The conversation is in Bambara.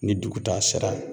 Ni dugutaa sera